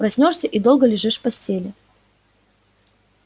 проснёшься и долго лежишь в постели